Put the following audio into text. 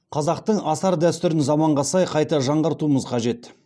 қазақтың асар дәстүрін заманға сай қайта жаңғыртуымыз қажет